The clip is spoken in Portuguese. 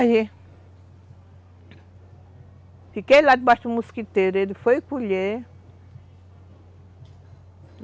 Aí... Fiquei lá debaixo do mosquiteiro, ele foi colher.